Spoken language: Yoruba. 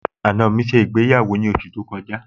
àna mi ṣe ìgbéyàwó ní oṣù tó kọjá